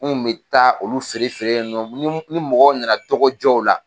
N kun mi taa olu feere feere yen nɔn, ni mɔgɔ nana dɔgɔ jɔw la.